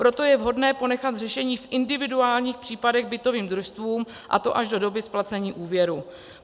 Proto je vhodné ponechat řešení v individuálních případech bytovým družstvům, a to až do doby splacení úvěru.